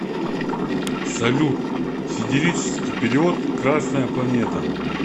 салют сидерический период красная планета